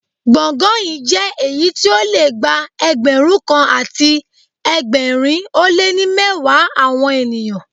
Gbọ̀ngàn yí jẹ́ èyí tí ó le gba Ẹgbẹ̀rún kan àti ẹgbẹ̀rin ó lé ní mẹ́wàá àwọn ènìyàn.